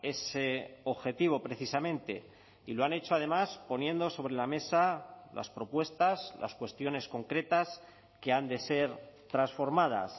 ese objetivo precisamente y lo han hecho además poniendo sobre la mesa las propuestas las cuestiones concretas que han de ser transformadas